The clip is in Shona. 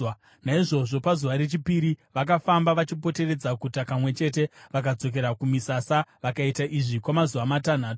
Naizvozvo pazuva rechipiri vakafamba vachipoteredza guta kamwe chete vakadzokera kumisasa. Vakaita izvi kwamazuva matanhatu.